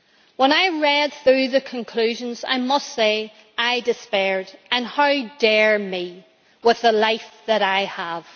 When I read through the conclusions I must say I despaired and how dare me, with the life that I have.